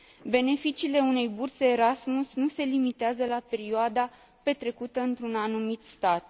Beneficiile unei burse Erasmus nu se limitează la perioada petrecută într un anumit stat.